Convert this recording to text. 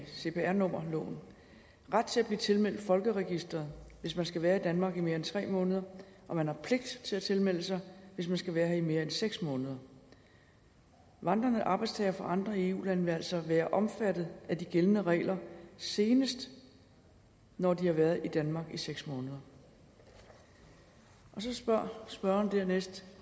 cpr nummerloven ret til at blive tilmeldt folkeregisteret hvis man skal være i danmark i mere end tre måneder og man har pligt til at tilmelde sig hvis man skal være her i mere end seks måneder vandrende arbejdstagere fra andre eu lande vil altså være omfattet af de gældende regler senest når de har været i danmark i seks måneder så spørger spørgeren dernæst